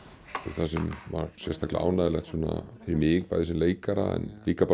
það sem var sérstaklega ánægjulegt fyrir mig sem leikara en líka